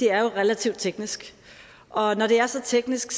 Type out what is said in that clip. er relativt teknisk og når det er så teknisk